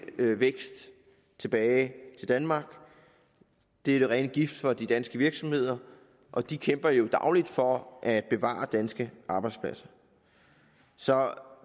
vækst tilbage til danmark det er den rene gift for de danske virksomheder og de kæmper jo dagligt for at bevare danske arbejdspladser så